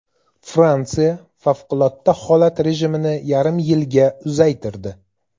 Fransiya favqulodda holat rejimini yarim yilga uzaytirdi.